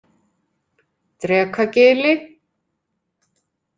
Drekagili